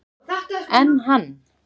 Enn hann